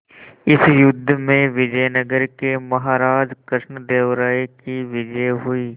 इस युद्ध में विजय नगर के महाराज कृष्णदेव राय की विजय हुई